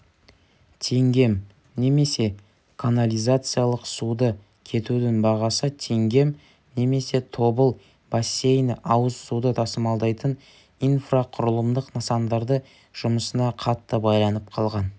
теңгем немесе канализациялық суды кетудің бағасы теңгем немесе тобыл бассейні ауыз суды тасымалдайтын инфрақұылымдық нысандарды жұмысына қатты байланып қалған